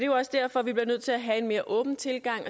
jo også derfor vi er nødt til at have en mere åben tilgang